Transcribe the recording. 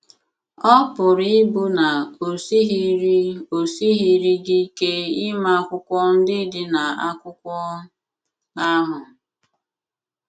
Ọ pụrụ ịbụ na o sighịrị o sighịrị gị ike ịma akwụkwọ ndị dị na akwụkwo ahụ.